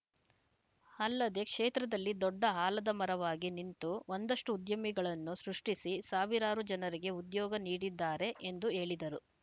ಅಲ್ಲದೆ ಕ್ಷೇತ್ರದಲ್ಲಿ ದೊಡ್ಡ ಆಲದಮರವಾಗಿ ನಿಂತು ಒಂದಷ್ಟುಉದ್ಯಮಿಗಳನ್ನು ಸೃಷ್ಟಿಸಿ ಸಾವಿರಾರು ಜನರಿಗೆ ಉದ್ಯೋಗ ನೀಡಿದ್ದಾರೆ ಎಂದು ಹೇಳಿದರು